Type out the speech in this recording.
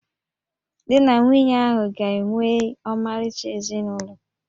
Di na nwunye ahụ ga-enwe ọmarịcha ezinụlọ